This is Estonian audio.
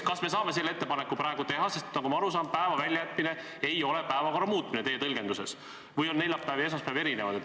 Kas me saame selle ettepaneku praegu teha, sest nagu ma aru saan, ei ole päeva väljajätmine teie tõlgenduses päevakorra muutmine, või on neljapäev ja esmaspäev erinevad?